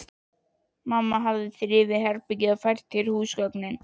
Mamma hafði þrifið herbergið og fært til húsgögnin.